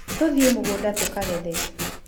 Tũthiĩ mũgũnda tũkagethe.